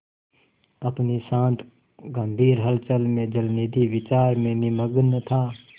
अपनी शांत गंभीर हलचल में जलनिधि विचार में निमग्न था